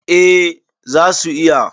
eh za su iya